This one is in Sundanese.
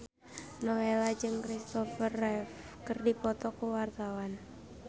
Nowela jeung Kristopher Reeve keur dipoto ku wartawan